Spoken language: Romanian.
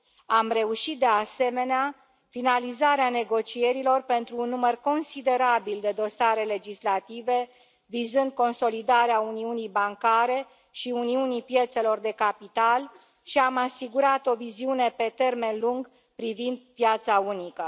Am reușit, de asemenea, finalizarea negocierilor pentru un număr considerabil de dosare legislative vizând consolidarea uniunii bancare și uniunii piețelor de capital și am asigurat o viziune pe termen lung privind piața unică.